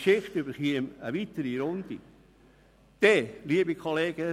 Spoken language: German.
Dann käme die Angelegenheit in die nächste Runde.